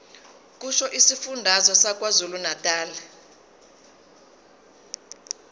kusho isifundazwe sakwazulunatali